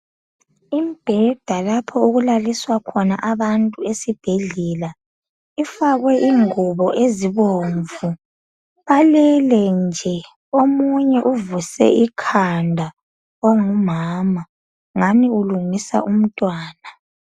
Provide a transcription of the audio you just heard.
Imbheda lapho okulaliswa khona abantu esibhedlela . Ifakwe ingubo ezibomvu, balele nje. Omunye uvuse ikhanda ongumama ngani ukulungisa umntwana.